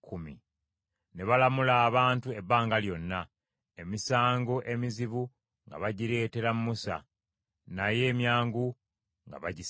Ne balamula abantu ebbanga lyonna. Emisango emizibu nga bagireetera Musa, naye emyangu nga bagisala.